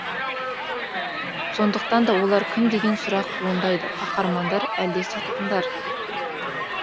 сондықтан да олар кім деген сұрақ туындайды қаһармандар әлде сатқындар